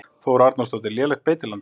Þóra Arnórsdóttir: Lélegt beitiland?